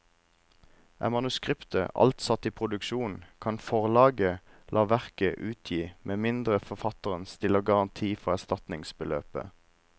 Er manuskriptet alt satt i produksjon, kan forlaget la verket utgi med mindre forfatteren stiller garanti for erstatningsbeløpet.